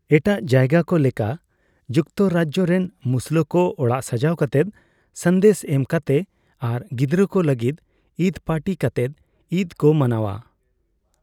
ᱮᱴᱟᱜ ᱡᱟᱭᱜᱟ ᱠᱚ ᱞᱮᱠᱟ, ᱡᱩᱠᱛᱚᱨᱟᱡᱡᱚ ᱨᱮᱱ ᱢᱩᱥᱞᱟᱹ ᱠᱚ ᱚᱲᱟᱜ ᱥᱟᱡᱟᱣ ᱠᱟᱛᱮ, ᱥᱟᱸᱫᱮᱥ ᱮᱢ ᱠᱟᱛᱮ ᱟᱨ ᱜᱤᱫᱨᱟᱹ ᱠᱚ ᱞᱟᱹᱜᱤᱫ ᱤᱫ ᱯᱟᱨᱴᱤ ᱠᱟᱛᱮᱜ ᱤᱫ ᱠᱚ ᱢᱟᱱᱟᱣᱼᱟ ᱾